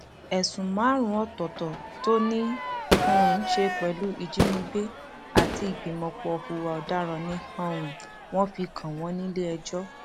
ẹsùn márùnún ọtọọtọ tó ní í um ṣe pẹlú ìjínigbé àti ìgbìmọpọ hùwà ọdaràn ni um wọn fi kàn wọn nílẹẹjọ